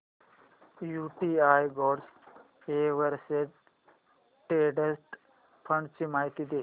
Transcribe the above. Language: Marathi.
UTI gold exchange traded fund ची माहिती दे